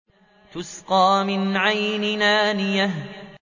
تُسْقَىٰ مِنْ عَيْنٍ آنِيَةٍ